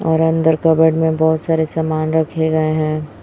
और अंदर कबर्ड में बहोत सारे समान रखें गए है।